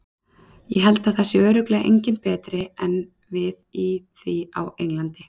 Ég held að það sé örugglega enginn betri en við í því á Englandi.